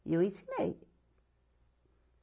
E eu ensinei.